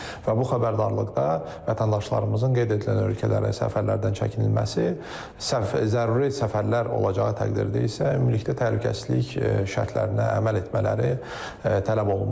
Və bu xəbərdarlıqda vətəndaşlarımızın qeyd edilən ölkələrə səfərlərdən çəkinilməsi, sərf zəruri səfərlər olacağı təqdirdə isə ümumilikdə təhlükəsizlik şərtlərinə əməl etmələri tələb olunmuşdur.